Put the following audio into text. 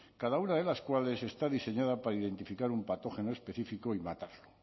cada una de las cuales está diseñada para identificar un patógeno específico y matarlo